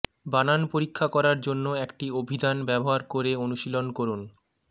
বানান পরীক্ষা করার জন্য একটি অভিধান ব্যবহার করে অনুশীলন করুন